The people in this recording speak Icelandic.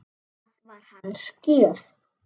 Það var hans gjöf.